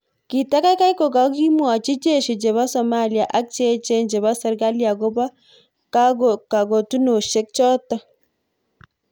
"Kitakaikai kokakimwochi jeshi chepo Somalia ak cheechen chepo serkali akopo kakotunoshek chotok